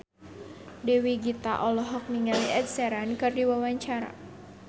Dewi Gita olohok ningali Ed Sheeran keur diwawancara